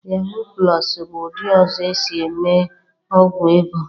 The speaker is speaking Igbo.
Yaahụ plọs bụ ụdị ọzọ esi-eme ọgwụ ego.